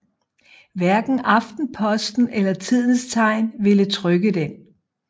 Hverken Aftenposten eller Tidens Tegn ville trykke den